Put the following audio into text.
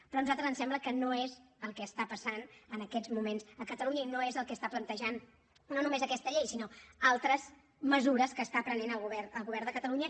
però a nosaltres ens sembla que no és el que està passant en aquests moments a catalunya i no és el que està plantejant no només aquesta llei sinó altres mesures que està prenent el govern de catalunya